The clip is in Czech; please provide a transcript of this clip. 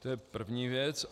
To je první věc.